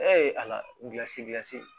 Ɛɛ ala gilasi dilan